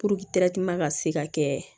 ka se ka kɛ